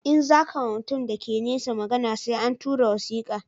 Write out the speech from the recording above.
In za ka ma mutum da ke nesa magana sai an tura wasika